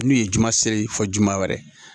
N'u ye juma seere fɔ juma wɛrɛ